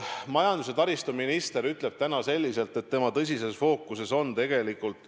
Majandus- ja taristuminister ütleb, et see on tema tõsises fookuses tegelikult.